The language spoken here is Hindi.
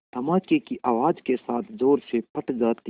धमाके की आवाज़ के साथ ज़ोर से फट जाती है